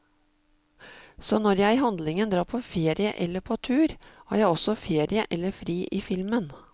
Så når jeg i handlingen drar på ferie eller på tur, har jeg også ferie eller fri i filmen.